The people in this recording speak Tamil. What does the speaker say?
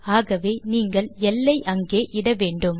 ஆகவே நீங்கள் எல் ஐ அங்கே இட வேண்டும்